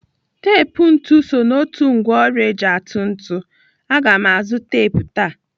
Tep ntụ so n'otu ngwaọrụ eji atụ ntụ. Aga m azụ tep taa.